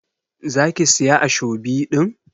za ki Siya ashobi din?